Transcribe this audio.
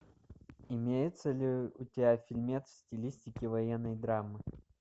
имеется ли у тебя фильмец в стилистике военной драмы